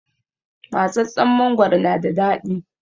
Matsatstsen mangoro na da daɗi